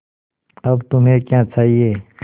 अब तुम्हें क्या चाहिए